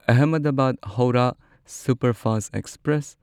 Ahmedabad Howrah superfast express